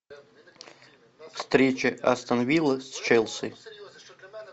встреча астон виллы с челси